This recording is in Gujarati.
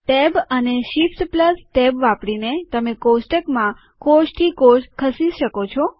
ટેબ અને શીફ્ટ ટેબ વાપરીને તમે કોષ્ટકમાં કોષ થી કોષ ખસી શકો છો